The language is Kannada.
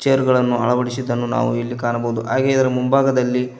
ಗಳನ್ನು ಅಳವಡಿಸಿದ್ದನ್ನು ನಾವು ಇಲ್ಲಿ ಕಾಣಬಹುದು ಹಾಗೆ ಇದರ ಮುಂಭಾಗದಲ್ಲಿ--